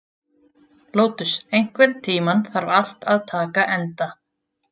Lótus, einhvern tímann þarf allt að taka enda.